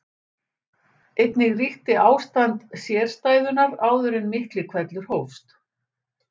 Einnig ríkti ástand sérstæðunnar áður en Miklihvellur hófst.